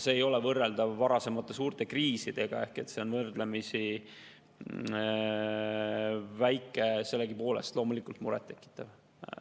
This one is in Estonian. See ei ole võrreldav varasemate suurte kriisidega ehk see on võrdlemisi väike, sellegipoolest loomulikult murettekitav.